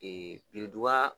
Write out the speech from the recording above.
birintuban